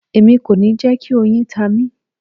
Emi ko ni jẹ ki oyin ta mi